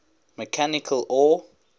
mechanical or